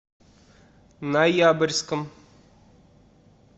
ноябрьском